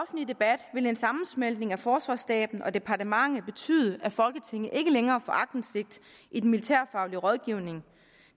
debat vil en sammensmeltning af forsvarsstaben og departementet betyde at folketinget ikke længere får aktindsigt i den militærfaglige rådgivning